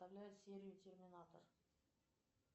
серию терминатор